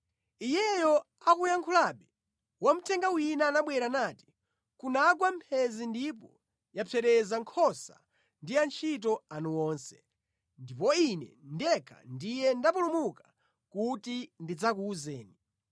Iyeyo akuyankhulabe, wamthenga wina anabwera nati, “Kunagwa mphenzi ndipo yapsereza nkhosa ndi antchito anu onse, ndipo ine ndekha ndiye ndapulumuka kuti ndidzakuwuzeni!”